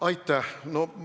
Aitäh!